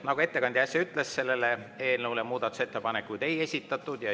Nagu ettekandja äsja ütles, eelnõu kohta muudatusettepanekuid ei esitatud.